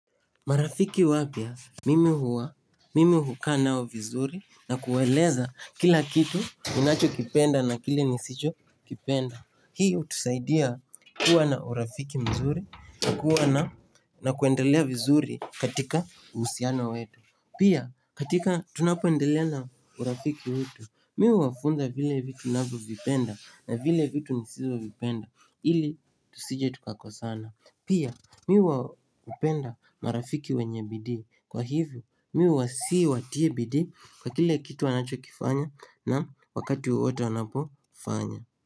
Marafiki wapya, mimi huwa, mimi hukaa nao vizuri na kuwaeleza kila kitu ninacho kipenda na kile nisicho kipenda. Hii hutusaidia kuwa na urafiki mzuri, kuwa na nakuendelea vizuri katika husiana wetu. Pia katika tunapoendelea na urafiki wetu, mi huwafunza vile vitu navyovipenda na vile vitu nisivyovipenda. Ili tusije tukakosana Pia mihuwapenda marafiki wenye bidii Kwa hivyo mihuwasii watie bidii Kwa kile kitu wanachokifanya na wakati wowote wanapofanya.